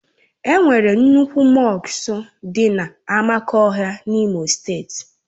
E nwere nnukwu mọsk dị na Amakohia N'Imo steeti.